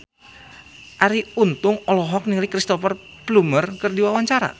Arie Untung olohok ningali Cristhoper Plumer keur diwawancara